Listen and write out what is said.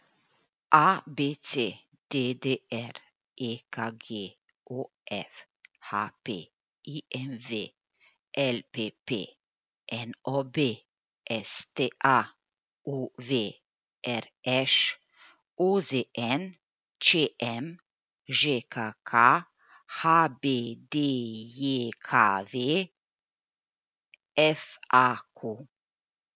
A B C; D D R; E K G; O F; H P; I M V; L P P; N O B; S T A; U V; R Š; O Z N; Č M; Ž K K; H B D J K V; F A Q.